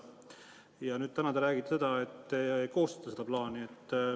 Ja nüüd täna te räägite, et te koostate seda plaani.